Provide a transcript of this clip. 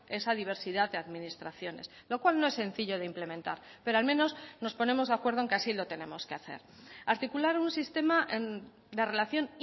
esa diversidad de administraciones lo cual no es sencillo de implementar pero al menos nos ponemos de acuerdo en que así lo tenemos que hacer articular un sistema de relación